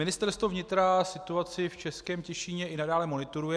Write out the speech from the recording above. Ministerstvo vnitra situaci v Českém Těšíně i nadále monitoruje.